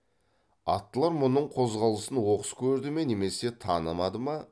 аттылар мұның қозғалысын оқыс көрді ме немесе танымады ма